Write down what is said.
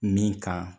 Min kan